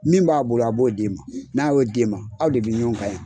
Min b'a bolo a b'o d'e ma ma n'a y'o d'e ma aw de bɛ ɲɔgɔn ka yen.